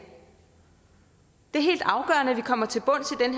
det er helt afgørende at vi kommer til bunds i